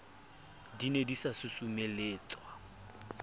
di ne di sa susumeletswa